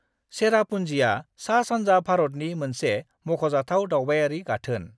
चेरापूंजीआ सा-सानजा भारतनि मोनसे मख'जाथाव दावबायारि गाथोन।